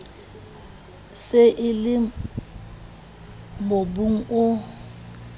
se e le mobung o